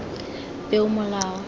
peomolao